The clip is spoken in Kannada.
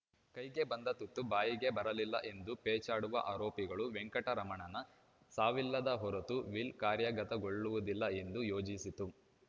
ಕೈಗೆ ಬಂದ ತುತ್ತು ಬಾಯಿಗೆ ಬರಲಿಲ್ಲ ಎಂದು ಪೇಚಾಡುವ ಆರೋಪಿಗಳು ವೆಂಕಟರಮಣನ ಸಾವಿಲ್ಲದ ಹೊರತು ವಿಲ್‌ ಕಾರ್ಯಗತಗೊಳ್ಳುವುದಿಲ್ಲ ಎಂದು ಯೋಜಿಸಿತ್ತು